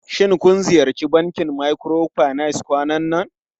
Shin kun ziyarci bankin microfinance kwanan nan?